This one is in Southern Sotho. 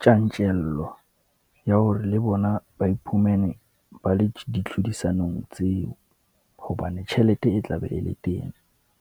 tjantjello, ya hore le bona ba iphumene ba le ditlhodisanong tseo, hobane tjhelete e tla be e le teng.